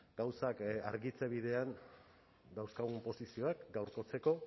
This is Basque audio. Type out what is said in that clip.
gauzak argitze bidean dauzkagun posizioak gaurkotzeko